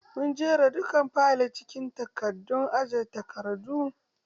Mun jera dukkan fayil acikin katakon aje takardu.